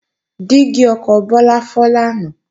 Dígí ọkọ̀ Bọ́lá fọ́ lánàá